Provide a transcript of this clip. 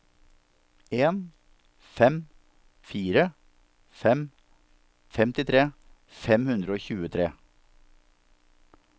en fem fire fem femtitre fem hundre og tjuetre